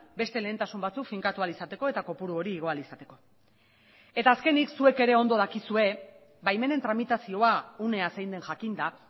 beste lehentasun batzuk finkatu ahal izateko eta kopuru hori igo ahal izateko eta azkenik zuek ere ondo dakizue baimenen tramitazioa unea zein den jakinda